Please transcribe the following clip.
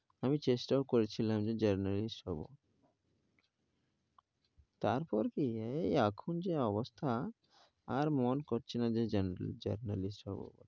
আমি চেষ্টা ও করেছিলাম যে journalist হবো, তারপর কি এই এখন যা অবস্থা আর মন করছে না journ ~journalist হবো.